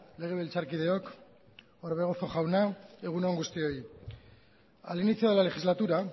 legebiltzarkideok orbegozo jauna egun on guztioi al inicio de la legislatura